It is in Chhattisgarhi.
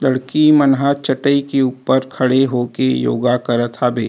लड़की मन ह चटाई के ऊपर खड़े होके योगा करत हाबे।